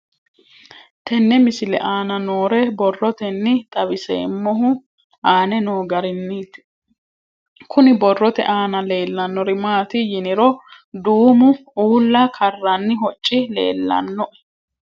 Tenne misile aana noore borroteni xawiseemohu aane noo gariniiti. Kunni borrote aana leelanori maati yiniro duumo ulla karanni hocci leelanoe.